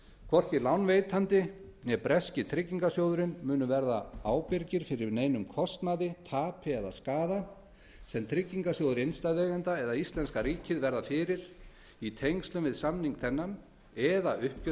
hvorki lánveitandi né breski tryggingarsjóðurinn munu verða ábyrgir fyrir neinum kostnaði tapi eða skaða sem tryggingarsjóður innstæðueigenda eða íslenska ríkið verða fyrir í tengslum við samning þennan eða